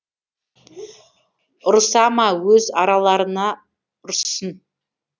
ұрыса ма өз араларына ұрыссын